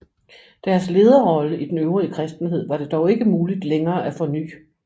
Deres lederrolle i den øvrige kristenhed var det dog ikke muligt længere at forny